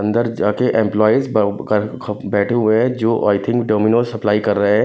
अंदर जा के एमप्लोईस ब अ क ख बैठे हुए हैं जो आई थिंक डोमिनोस सप्लाई कर रहे हैं।